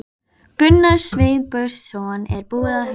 Gunnar Sveinbjörnsson er búinn að hugsa.